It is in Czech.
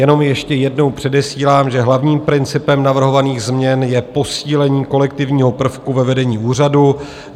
Jenom ještě jednou předesílám, že hlavním principem navrhovaných změn je posílení kolektivního prvku ve vedení úřadu.